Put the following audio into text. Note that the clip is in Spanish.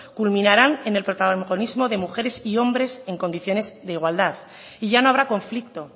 culminarán en el protagonismo de mujeres y hombres en condiciones de igualdad y ya no habrá conflicto